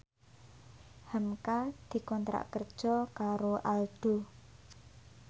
hamka dikontrak kerja karo Aldo